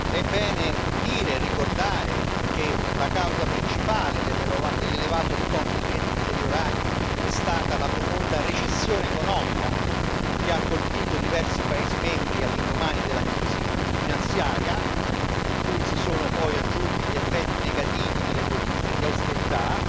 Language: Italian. È bene dire e ricordare che la causa principale dell'elevato stock di crediti deteriorati è stata la profonda recessione economica che ha colpito diversi paesi membri all'indomani della crisi finanziaria, cui si sono poi aggiunti gli effetti negativi delle politiche di austerità.